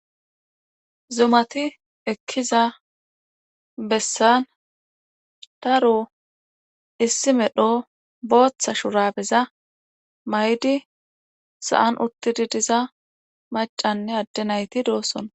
Zumati ekkiza besan daro issi medho booththa shuraabeza mayidi sa'an utidi diza maccanne ade nayti doosona .